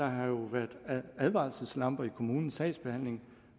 have været advarselslamper i kommunens sagsbehandling